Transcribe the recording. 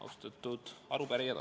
Austatud arupärijad!